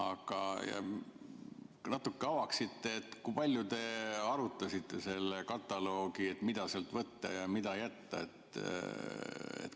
Kas te natuke avaksite, kui palju te arutasite seda kataloogi, et mida sealt võtta ja mida jätta.